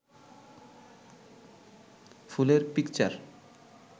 ফুলের পিকচার